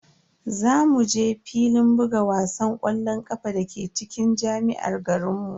Za mu je filin buga wasan ƙwallon ƙafa dake cikin jami'ar garinmu.